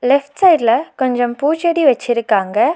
Left சைடுல கொஞ்சம் பூச்செடி வச்சிருக்காங்க.